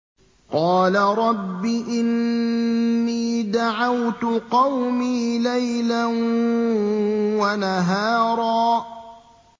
قَالَ رَبِّ إِنِّي دَعَوْتُ قَوْمِي لَيْلًا وَنَهَارًا